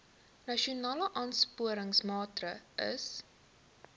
nasionale aansporingsmaatre ls